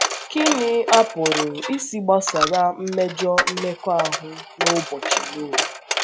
Kí ni a pụrụ ịsị gbasara mmejọ mmekọahụ n’ụbọchị Nọah?